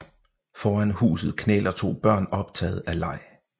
Foran huset knæler to børn optaget af leg